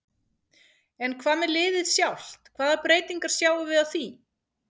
En hvað með liðið sjálft hvaða breytingar sjáum við á því?